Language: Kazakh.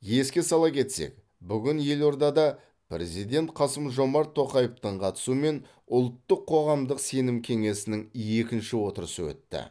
еске сала кетсек бүгін елордада президенті қасым жомарт тоқаевтың қатысуымен ұлттық қоғамдық сенім кеңесінің екінші отырысы өтті